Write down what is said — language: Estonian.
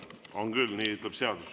On küll, nii ütleb seadus.